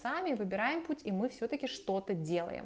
сами выбираем путь и мы всё-таки что-то делаем